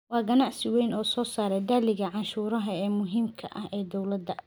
Waa ganacsi weyn oo soo saaraya dakhliga canshuuraha ee muhiimka ah ee dowlada.